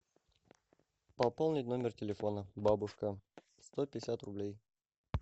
пополнить номер телефона бабушка сто пятьдесят рублей